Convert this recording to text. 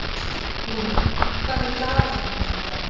Lúna, hvað er í dagatalinu mínu í dag?